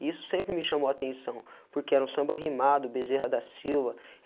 E isso sempre me chamou a atenção, porque era um samba rimado, bezerra da Silva.